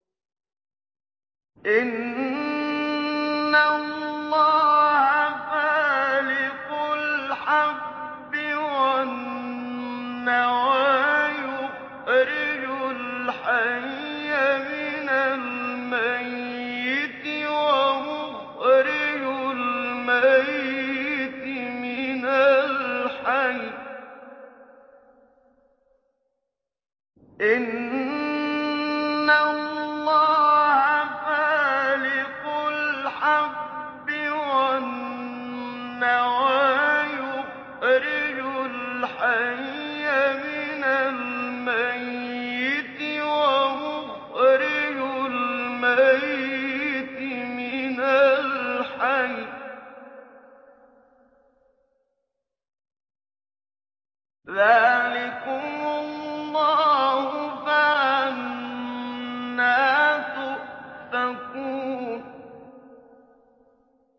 ۞ إِنَّ اللَّهَ فَالِقُ الْحَبِّ وَالنَّوَىٰ ۖ يُخْرِجُ الْحَيَّ مِنَ الْمَيِّتِ وَمُخْرِجُ الْمَيِّتِ مِنَ الْحَيِّ ۚ ذَٰلِكُمُ اللَّهُ ۖ فَأَنَّىٰ تُؤْفَكُونَ